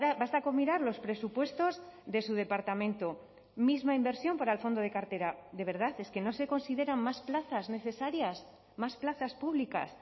basta con mirar los presupuestos de su departamento misma inversión para el fondo de cartera de verdad es que no se consideran más plazas necesarias más plazas públicas